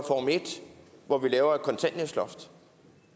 hvor vi laver et kontanthjælpsloft